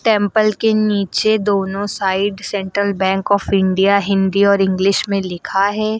Temple के नीचे दोनों side central bank of India Hindi और इंग्लिश में लिखा है।